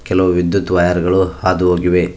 ಕೆಲವು ವಿದ್ಯುತ್ ವೈರ್ ಗಳು ಹಾದು ಹೋಗಿವೆ.